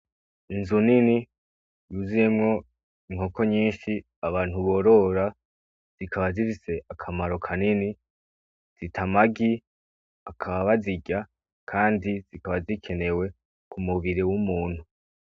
Inzu nini zuzuyemwo inkoko nyinshi abantu borora zikaba zifise akamaro kanini, zita amagi bakaba bazirya, kandi zifise akamaro kanini kumubiri wumuntu.